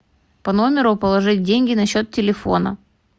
по номеру положить деньги на счет телефона